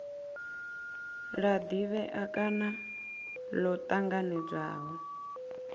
la divhea kana lo tanganedzwaho